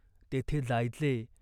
तेथे जायचे.